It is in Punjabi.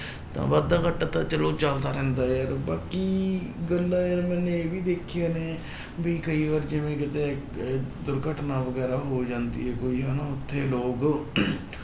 ਤਾਂ ਵਾਧਾ ਘਾਟਾ ਤਾਂ ਚਲੋ ਚੱਲਦਾ ਰਹਿੰਦਾ ਯਾਰ ਬਾਕੀ ਗੱਲਾਂ ਯਾਰ ਮੈਨੇ ਇਹ ਵੀ ਦੇਖੀਆਂ ਨੇ ਵੀ ਕਈ ਵਾਰ ਜਿਵੇਂ ਕਿਤੇ ਇੱਕ ਦੁਰਘਟਨਾ ਵਗ਼ੈਰਾ ਹੋ ਜਾਂਦੀ ਹੈ ਕੋਈ ਹਨਾ ਉੱਥੇ ਲੋਕ